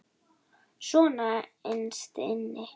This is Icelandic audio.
Svona innst inni.